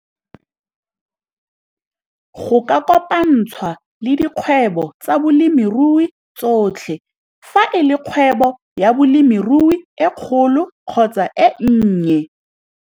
Go ka kopantshwa le dikgwebo tsa bolemirui tsotlhe, fa e le kgwebo ya bolemirui e kgolo kgotsa e nnye.